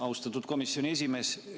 Austatud komisjoni esimees!